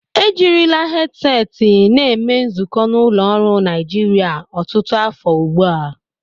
Ejirila hedseti na eme nzukọ n'ụlọ ọrụ Naijiria ọtụtụ afọ ugbu a.